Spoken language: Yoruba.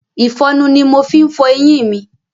Ìfọnu ni mo fi ń fọ eyín mi.